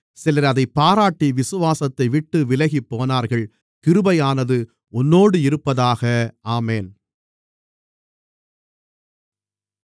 சிலர் அதைப் பாராட்டி விசுவாசத்தைவிட்டு விலகிப்போனார்கள் கிருபையானது உன்னோடு இருப்பதாக ஆமென்